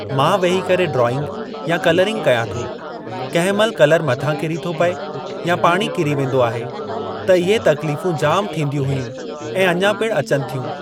मां वेही करे ड्रॉइंग या कलरिंग कयां थो। कंहिं महिल कलर मथां किरी थो पए या पाणी किरी वेंदो आहे त इहे तक़लीफ़ूं जाम थींदियूं हुयूं ऐं अञा पिणु अचनि थियूं।